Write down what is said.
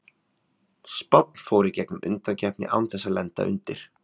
Spánn fór í gegnum undankeppnina án þess að lenda undir.